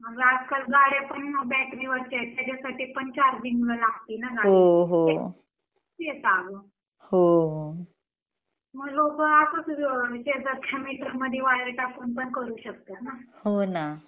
अग आज कल गाड्या पण बॅटरी वरच्या आहेत त्याचसाठी पण चार्जिंग ला लागते ना गाडी तेच अग मग लोक अग म्हणजे आता मिटर मध्ये वायर टाकून पण करू शकतात ना